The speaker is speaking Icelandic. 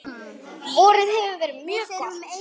Vorið hefur verið mjög gott.